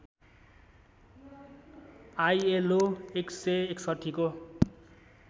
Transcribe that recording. ILO १६९ को